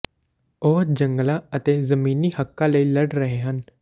ਉਹ ਜੰਗਲਾਂ ਅਤੇ ਜ਼ਮੀਨੀ ਹੱਕਾਂ ਲਈ ਲੜ ਰਹੇ ਹਨ